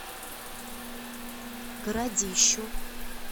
городищу